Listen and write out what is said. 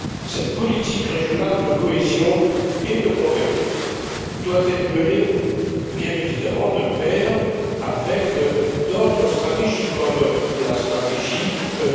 Cette politique régionale de cohésion et de convergence doit être menée bien évidemment de pair avec d'autres stratégies, comme la stratégie UE